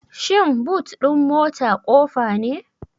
Shin boot din mota ƙofa ne?